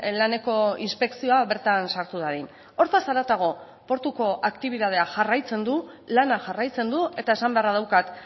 laneko inspekzioa bertan sartu dadin hortaz haratago portuko aktibitatea jarraitzen du lana jarraitzen du eta esan beharra daukat